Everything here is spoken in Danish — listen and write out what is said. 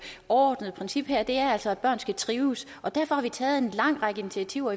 overordnede princip her er altså at børn skal trives og derfor har vi taget en lang række initiativer